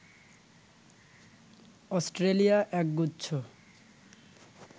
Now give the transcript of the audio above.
Australia এক গুচ্ছ